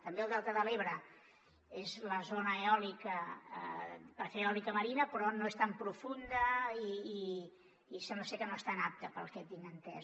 també el delta de l’ebre és zona eòlica per fer eòlica marina però no és tan profunda i sembla ser que no és tan apta pel que tinc entès